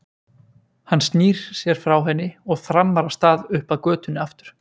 Hann snýr sér frá henni og þrammar af stað upp að götunni aftur.